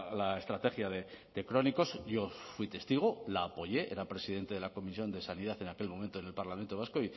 la estrategia de crónicos yo fui testigo la apoye era presidente de la comisión de sanidad en aquel momento en el parlamento vasco